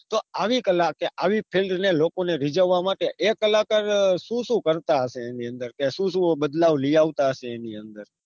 તો આવી કલાકે આવી ફિલ્મ ને લોકોને રીજાવા માટે એ કલાકારો શું શું કરતા હશે ફિલ્મ નીં અંદર કે સુ સુ બદલાવ લી આલતા હશે ની અંદર